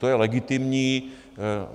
To je legitimní.